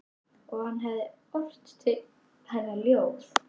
Og hann hefði ort til hennar ljóð.